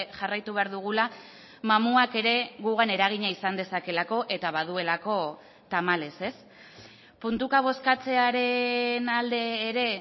jarraitu behar dugula mamuak ere gugan eragina izan dezakeelako eta baduelako tamalez ez puntuka bozkatzearen alde ere